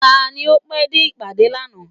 Tani o pé dé ìpàdé lànà?